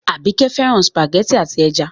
Àbíkẹ́ fẹ́ràn sùpàgẹ́tì àti ẹja.